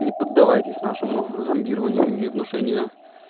не поддавайтесь нашему зомбированию и внушению